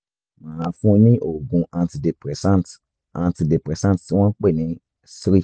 màá fún un ní oògùn antidepressant antidepressant tí wọ́n ń pè ní ssri